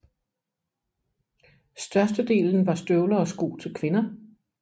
Størstedelen var støvler og sko til kvinder